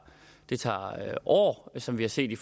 år som vi har set i